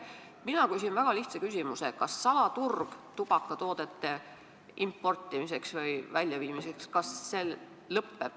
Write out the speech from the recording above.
Ma küsin väga lihtsa küsimuse: kas tubakatoodete importimise või väljaviimise salaturg lõpeb Eestis lõplikult?